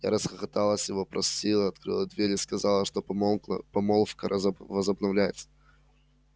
я расхохоталась его простила открыла дверь и сказала что помолвка возобновляется